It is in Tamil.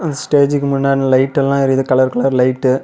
அந்த ஸ்டேஜ்க்கு முன்னாடி லைட் எல்லா எரியுது கலர் கலர் லைட்டு .